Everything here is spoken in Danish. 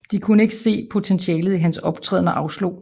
De kunne ikke se potentialet i hans optræden og afslog